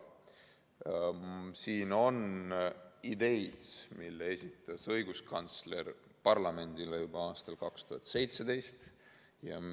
Siin on ideid, mille esitas õiguskantsler parlamendile juba aastal 2017.